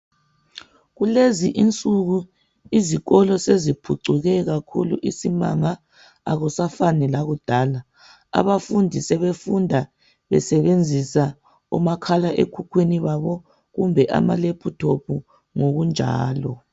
Kulezi insuku izikolo seziphucuke kakhulu isimanga, akusafani lakudala. Abafundi sebefunda besebenzisa omakhala ekhukhwini babo kumbe ama"laptop " ngokunjalo.